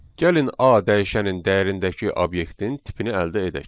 Gəlin A dəyişənin dəyərindəki obyektin tipini əldə edək.